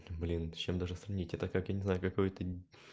блин с чем даже сравнить это как я не знаю какое-то